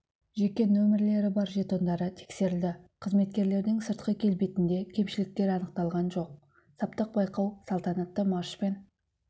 жеке нөмірлері бар жетондары тексерілді қызметкерлердің сыртқы келбетінде кемшіліктер анықталған жоқ саптық байқау салтанатты маршпен